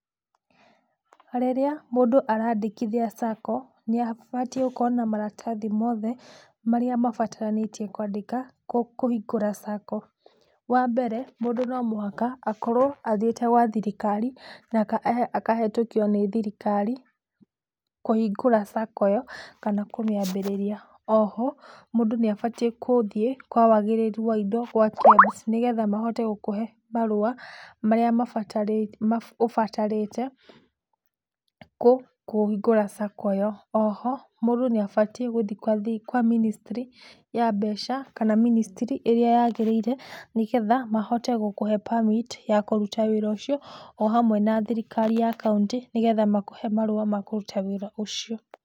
Rĩrĩa mũndũ araandĩkithia Sacco nĩabatiĩ gũkorwo na maratathi mothe marĩa mabataranĩtie kũhingũra Sacco. Wambere mũndũ no mũhaka akorwo athiĩte gwa thirikari na akahetũkio nĩ thirikari kũhingũra sacco ĩyo kana kũmĩambĩrĩria, oho mũndũ nĩabatie gũthĩe kwa wagĩrĩru wa indo gwa KEBS nĩgetha mahote gũkũhe marũa marĩa ũbatarĩte kũhingũra Sacco ĩyo, oho mũndũ nĩabatie gũthie kwa ministry ya mbeca kana ministry ĩrĩa yagĩrĩire nĩgetha mahote gũkũhe permit ya kũruta wĩra ũcio o hamwe na thirikari ya kauntĩ nĩgetha makũhe marũa ma kũruta wĩra ũcio.